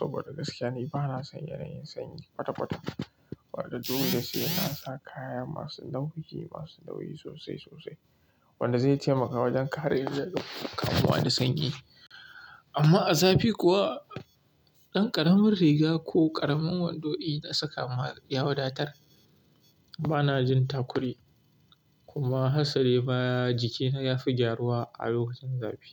saboda gaskiya ne bana son yanayin sanyi kwata-kwata. Wanda dole da sai na sa kaya masu nauyi, masu nauyi sosai sosai wanda zai taimakawa wajen kare ni daga kamuwar da sanyi. Amma a zafi kuwa, ɗan ƙaramin riga ko ƙaramin wando ina saka ya wadatar. Bana jin ta kuri kuma harsare baya jikina ya fi gyaruwa a lokacin zafi.